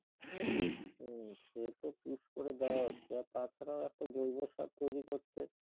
উম সেতো push করে দেওয়া হচ্ছে আর তা ছাড়া একটা জৈব সার তৈরি করতে